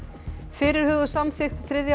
fyrirhuguð samþykkt þriðja